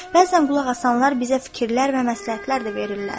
Bəzən qulaq asanlar bizə fikirlər və məsləhətlər də verirlər.